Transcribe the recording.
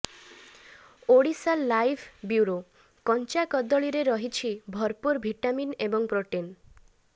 Odisha live bureau କଞ୍ଚା କଦଳୀରେ ରହିଛି ଭରପୂର ଭିଟାମିନ୍ ଏବଂ ପ୍ରୋଟିନ୍